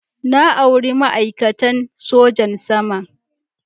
Na auri ma'aikatan sojan sama.